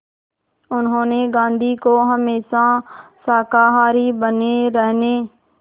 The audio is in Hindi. उन्होंने गांधी को हमेशा शाकाहारी बने रहने